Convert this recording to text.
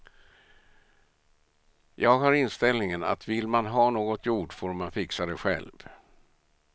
Jag har inställningen att vill man ha något gjort får man fixa det själv.